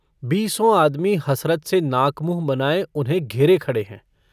बीसों आदमी हसरत से नाकमुँह बनाये उन्हें घेरे खड़े हैं।